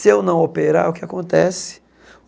Se eu não operar, o que acontece?